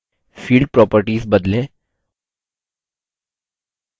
नीचे के section में field properties field properties बदलें